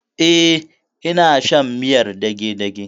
E, ina shan miyar dagedage.